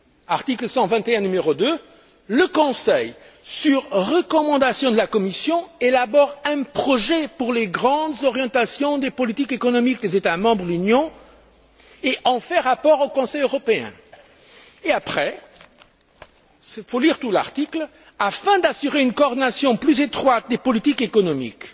Article 121, numéro 2 Le Conseil, sur recommandation de la Commission, élabore un projet pour les grandes orientations des politiques économiques des États membres de l'Union et en fait rapport au Conseil européen, et après il faut lire tout l'article Afin d'assurer une coordination plus étroite des politiques économiques